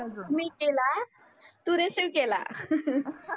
मी केला तु रिसिव्ह केला.